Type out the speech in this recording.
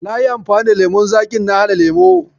Nayi anfani da lemon zaƙin na haɗa lemo.